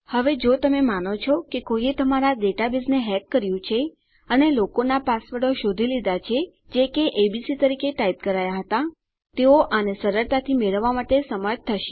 હવે જો તમે માનો છો કે કોઈએ તમારા ડેટાબેઝને હેક કર્યું છે અને લોકોનાં પાસવર્ડો શોધી લીધા છે જે કે એબીસી તરીકે ટાઈપ કરાયા હતા તેઓ આને સરળતાથી મેળવવા માટે સમર્થ થશે